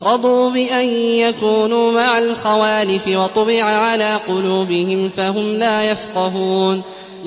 رَضُوا بِأَن يَكُونُوا مَعَ الْخَوَالِفِ وَطُبِعَ عَلَىٰ قُلُوبِهِمْ فَهُمْ لَا يَفْقَهُونَ